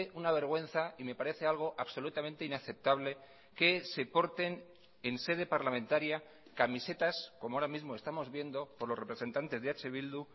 una vergüenza y me parece algo absolutamente inaceptable que se porten en sede parlamentaria camisetas como ahora mismo estamos viendo por los representantes de eh bildu